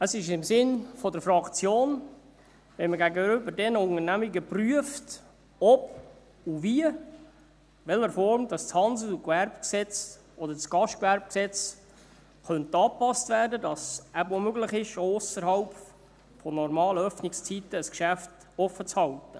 Es ist im Sinne der Fraktion, wenn man gegenüber diesen Unternehmungen prüft, ob und wie, in welcher Form das HGG oder das GGG angepasst werden könnte, damit es eben auch möglich ist, ein Geschäft ausserhalb der normalen Öffnungszeiten offen zu halten.